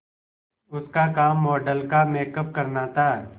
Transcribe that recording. उसका काम मॉडल का मेकअप करना था